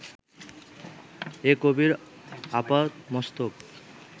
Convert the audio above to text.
এ কবির আপাদমস্তক